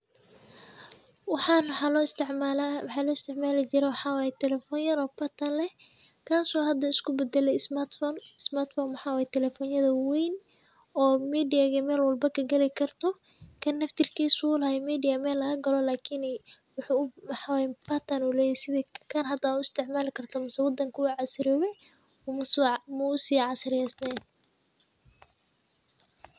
Wxan wxa loisticmalijire wxa waye telefon yar oo bartan leh, kas o hada iskubadale ismat fon, ismatfon wxa waye telefonyada wawen oo midia iyo mel walbo kagalikarto, kan naftirkis u lahay mel lagagalo lakini waxawaye bartan u leyahay sithi kan hada u isticmalikarto mise wadanka u casriyowe muusicasriyeynen.